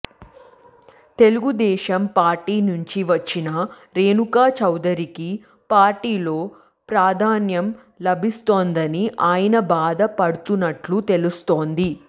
Telugu Desam party నుంచి వచ్చిన రేణుకా చౌదరికి పార్టీలో ప్రాధాన్యం లభిస్తోందని ఆయన బాధ పడుతున్నట్లు తెలుస్తోంది